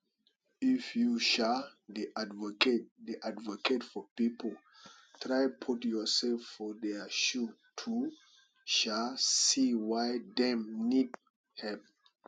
if you um dey advocate dey advocate for pipo try put youself for their shoe to um see why dem need help